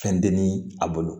Fɛn denni a bolo